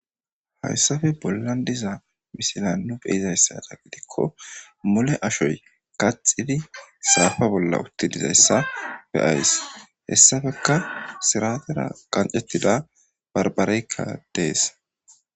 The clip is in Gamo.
Hayssafe bollan diza misila nu beyizayssada gidikko mole ashoy qaxidi saafa bolla utti dizayssa be7ays. Hessafeka siraatera qancettida barbBareykka dees.